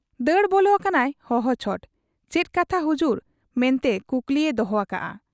ᱫᱟᱹᱲ ᱵᱚᱞᱚ ᱟᱠᱟᱱᱟᱭ ᱦᱚᱦᱚ ᱪᱷᱚᱴ ᱾ ᱪᱮᱫ ᱠᱟᱛᱷᱟ ᱦᱩᱡᱩᱨ ᱢᱮᱱᱛᱮ ᱠᱩᱠᱞᱤᱭᱮ ᱫᱚᱦᱚ ᱟᱠᱟᱜ ᱟ ᱾